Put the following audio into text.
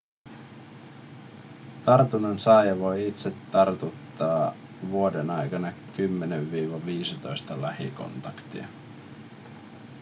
tartunnan saaja voi itse tartuttaa vuoden aikana 10-15 lähikontaktia